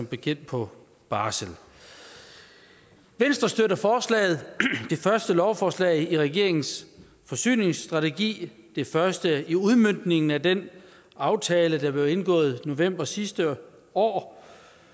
bekendt på barsel venstre støtter forslaget det første lovforslag i regeringens forsyningsstrategi det første i udmøntningen af den aftale der blev indgået i november sidste år